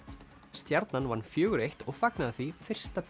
stjarnan vann fjóra eins og fagnaði því fyrsta